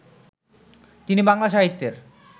তিনি বাংলা সাহিত্যের